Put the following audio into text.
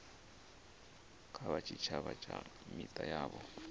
kha tshitshavha na mita yavho